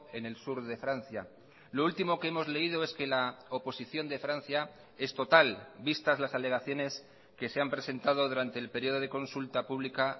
en el sur de francia lo último que hemos leído es que la oposición de francia es total vistas las alegaciones que se han presentado durante el período de consulta pública